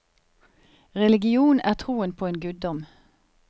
Religion er troen på en guddom.